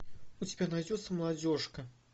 у тебя найдется молодежка